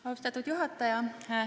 Austatud juhataja!